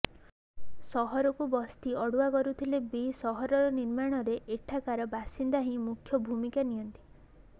ସହରକୁ ବସ୍ତି ଅଡ଼ୁଆ କରୁଥିଲେ ବି ସହର ନିର୍ମାଣରେ ଏଠାକାର ବାସିନ୍ଦା ହିଁ ମୁଖ୍ୟ ଭୂମିକା ନିଅନ୍ତି